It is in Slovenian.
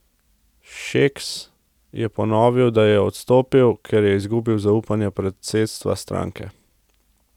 Šeks je ponovil, da je odstopil, ker je izgubil zaupanje predsedstva stranke.